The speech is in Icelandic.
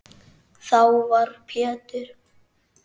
Þá var Pétur